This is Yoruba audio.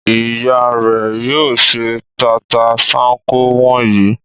Ìyá rẹ̀ yóò se tata-n-sánkọ wọ̀nyí.